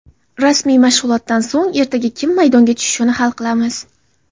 Rasmiy mashg‘ulotdan so‘ng ertaga kim maydonga tushishini hal qilamiz.